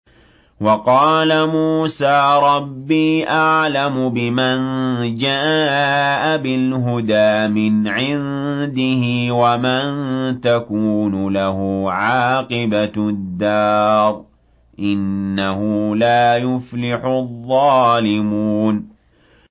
وَقَالَ مُوسَىٰ رَبِّي أَعْلَمُ بِمَن جَاءَ بِالْهُدَىٰ مِنْ عِندِهِ وَمَن تَكُونُ لَهُ عَاقِبَةُ الدَّارِ ۖ إِنَّهُ لَا يُفْلِحُ الظَّالِمُونَ